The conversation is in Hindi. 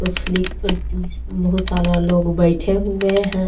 कुछ बहुत सारा लोग बैठे हुए हैं।